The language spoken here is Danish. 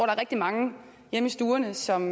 rigtig mange hjemme i stuerne som